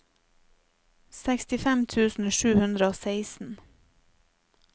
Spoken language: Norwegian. sekstifem tusen sju hundre og seksten